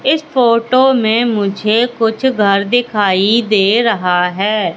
इस फोटो में मुझे कुछ घर दिखाई दे रहा है।